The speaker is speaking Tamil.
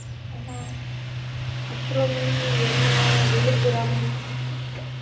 என்ன அப்புறம் என்ன விழுப்புரம்